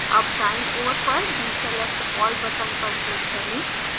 all दाईं ओर पर deselect all button पर click करें